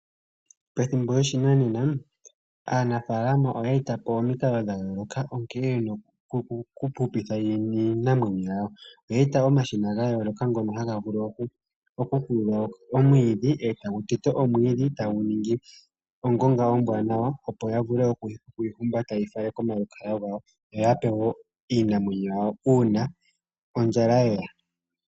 Pethimbo lyoshinanena aanafaalama oye eta po omikalo dha yooloka nkene ye na okuhupitha iinamwenyo yawo. Oye eta po omashina ga yooloka ngoka haga vulu okukulula nokuteta omwiidhi e tagu ningi ongonga ombwaanawa, opo ya vule oku yi humbata ye yi fale komalukalwa gawo yo ya pe wo iinamwenyo yawo uuna ondjala ye ya.